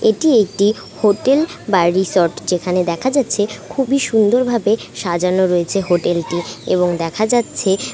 এইটি একটি হোটেল বা রিসোর্ট যেখানে দেখা যাচ্ছে খুব-ই সুন্দর ভাবে সাজানো হয়েছে হোটেল টি এবং দেখা যাচ্ছে।